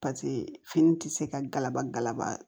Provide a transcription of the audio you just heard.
Paseke fini tɛ se ka galabalaba